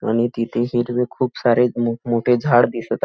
आणि तिथे सर्वे खूप सारे मोठ मोठे झाड दिसत आ --